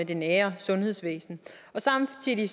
det nære sundhedsvæsen samtidig